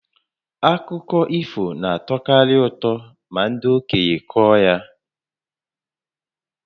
Akụkọ ifo na-atọkarị ụtọ ma ndị okenye kọọ ha